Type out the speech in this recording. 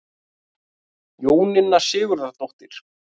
Jóninna Sigurðardóttir.